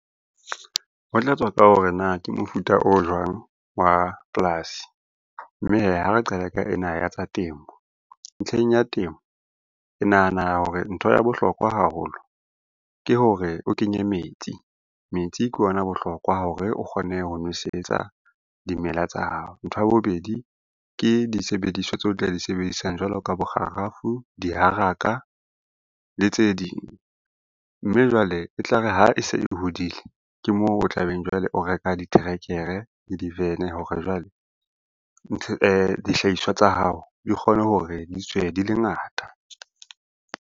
Ho tlatswa ka hore na ke mofuta o jwang wa polasi, mme hee ha re qala ka ena ya tsa temo. Ntlheng ya temo ke nahana hore ntho ya bohlokwa haholo ke hore o kenye metsi. Metsi ke ona bohlokwa hore o kgone ho nwesetsa dimela tsa hao. Ntho ya bobedi ke disebediswa tseo tla di sebedisang jwalo ka bo kgarafu, diharaka le tse ding, mme jwale e tlare ha e se e hodile, ke moo o tla beng o reka diterekere le diterekere, divene hore jwale dihlahiswa tsa hao di kgone hore di tswe di le ngata.